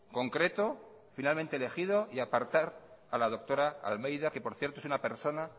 concreto finalmente elegido y apartar a la doctora almeida que por cierto es una persona